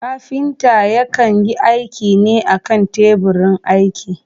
Kafinta yakan yi aiki ne a kan teburin aiki.